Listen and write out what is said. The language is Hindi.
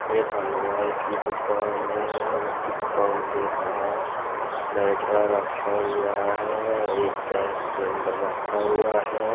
एक हलवाई की दुकान है उसकी दुकान के बाहर बैटरा रखा हुआ है एक गैस सिलेंडर रखा हुआ है।